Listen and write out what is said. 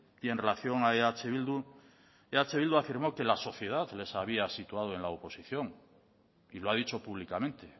y en relación a eh bildu eh bildu afirmó que la sociedad los había situado en la oposición y lo ha dicho públicamente